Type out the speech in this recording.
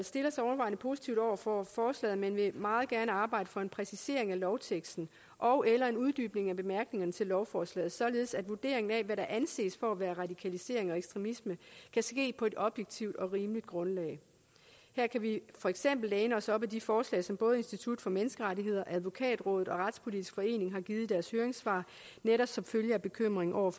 stiller sig overvejende positivt over for forslaget men vil meget gerne arbejde for en præcisering af lovteksten ogeller en uddybning af bemærkningerne til lovforslaget således at vurderingen af hvad der anses for at være radikalisering og ekstremisme kan ske på et objektivt og rimeligt grundlag her kan vi for eksempel læne os op ad de forslag som både institut for menneskerettigheder advokatrådet og retspolitisk forening har givet i deres høringssvar netop som følge af bekymringen over